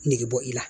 Negebɔ i la